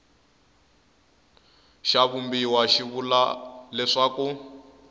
xa vumbiwa xi vula leswaku